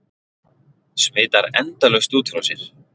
Smitar endalaust út frá sér.